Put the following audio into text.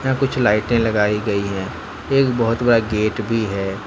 कुछ लाइटे लगाई गई हैं एक बहुत बड़ा गेट भी है।